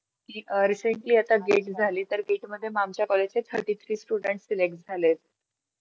की अं ती recently आता gate झाली तर gat मध्ये मग आमच्या college चे thirty three student select झाले.